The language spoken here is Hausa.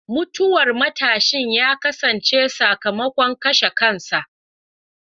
Mutuwar matashin ta kasance sakamakon kashe kansa.